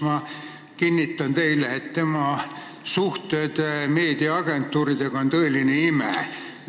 Ma kinnitan teile, et tema suhtlemine meediainimestega on tõeline ime.